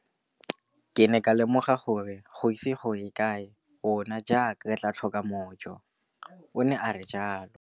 Ke ne ka lemoga gore go ise go ye kae rona jaaka barekise re tla tlhoka mojo, o ne a re jalo.